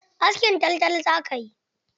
Askin taltal zaka yi!